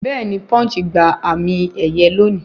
Bẹ́ẹ̀ni Punch gba àmì ẹ̀yẹ lóòní